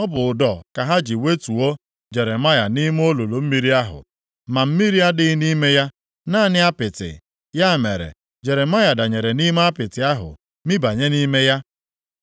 Ọ bụ ụdọ ka ha ji wetuo Jeremaya nʼime olulu mmiri ahụ. Ma mmiri adịghị nʼime ya, naanị apịtị. Ya mere, Jeremaya danyere nʼime apịtị ahụ, mibanye nʼime ya.